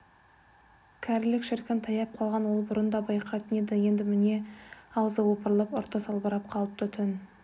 кәрілік шіркін таяп қалғанын ол бұрын да байқайтын енді міне аузы опырылып ұрты салбырап қалыпты түн